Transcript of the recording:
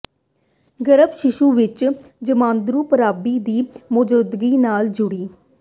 ਗਰੱਭਸਥ ਸ਼ੀਸ਼ੂ ਵਿੱਚ ਜਮਾਂਦਰੂ ਖਰਾਬੀ ਦੀ ਮੌਜੂਦਗੀ ਨਾਲ ਜੁੜੀ